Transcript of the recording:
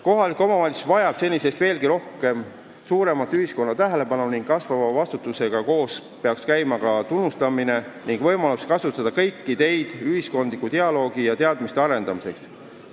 Kohalik omavalitsus vajab senisest veelgi suuremat ühiskonna tähelepanu ning kasvava vastutusega koos peaks käima ka tunnustamine ning võimalus kasutada kõiki teid ühiskondliku dialoogi ja teadmiste arendamiseks.